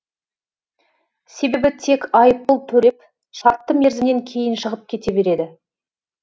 себебі тек айыппұл төлеп шартты мерзімнен кейін шығып кете береді